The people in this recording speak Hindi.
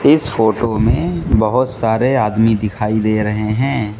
इस फोटो में बहोत सारे आदमी दिखाई दे रहे हैं।